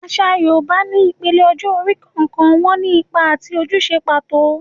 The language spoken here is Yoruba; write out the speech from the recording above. Àṣà Yorùbá ní ìpele ọjọ́ orí, ọ̀kọ̀ọ̀kan wọn ní ipa àti ojúṣe pàtó.